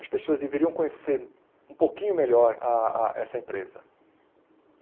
As pessoas deveriam conhecer um pouquinho melhor a a essa empresa.